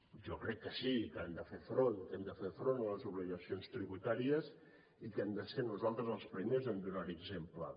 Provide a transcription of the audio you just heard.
jo crec que sí que hem de fer front a les obligacions tributàries i que hem de ser nosaltres els primers en donar hi exemple